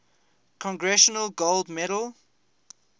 congressional gold medal